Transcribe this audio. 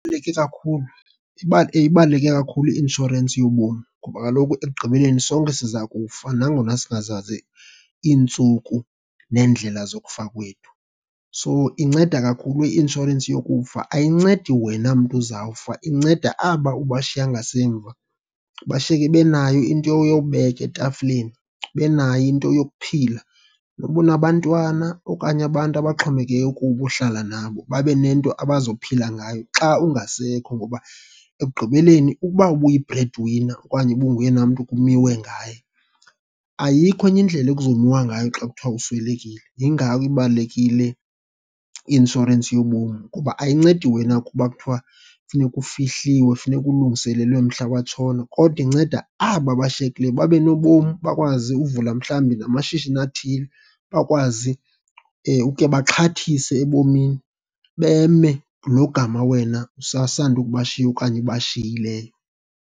Kakhulu, ibaluleke kakhulu i-inshorensi yobomi, ngoba kaloku ekugqibeleni sonke siza kufa nangona singazazi iintsuku neendlela zokufa kwethu. So, inceda kakhulu i-inshorensi yokufa. Ayincedi wena mntu uzawufa, inceda aba ubashiya ngasemva. Bashiyeke benayo into yobeka etafileni, benayo into yokuphila. Noba unabantwana okanye abantu abaxhomekeke kubo uhlala nabo, babe nento abazophila ngayo xa ungasekho. Ngoba ekugqibeleni ukuba ubuyi-bread winner okanye ubunguyena mntu kumiwe ngaye, ayikho enye indlela ekuzomiwa ngayo xa kuthiwa uswelekile. Yingako ibalulekile i-inshorensi yobomi, kuba ayincedi wena kuba kuthiwa funeka ufihliwe, funeka ulungiselelwe mhla watshona kodwa inceda aba bashiyekieleyo babe nobomi. Bakwazi uvula mhlawumbi namashishini athile, bakwazi ukhe baxhathise ebomini beme logama wena usasandukubashiya okanye ubashiyileyo.